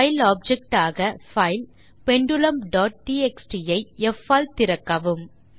file object ஆக file பெண்டுலும் dot TXT ஐ ப் ஆல் திறக்கவும்